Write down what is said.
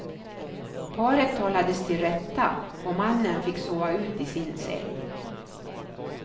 Paret talades till rätta och mannen fick sova ut i sin säng.